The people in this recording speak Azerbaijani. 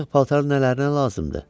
Artıq paltar nələrinə lazımdır?